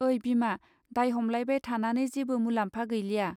ओइ बिमा दाय हमलायबाय थानानै जेबो मुलाम्फा गैलिया.